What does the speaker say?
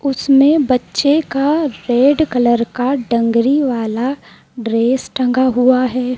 उसमें बच्चे का रेड कलर का डंगरी वाला ड्रेस टंगा हुआ है।